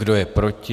Kdo je proti?